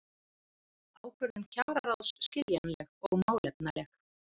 Ákvörðun kjararáðs skiljanleg og málefnaleg